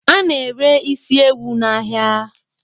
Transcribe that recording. Ana ere is ewu n'ahia